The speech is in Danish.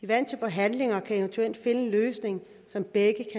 vant til forhandlinger og kan eventuelt finde en løsning som begge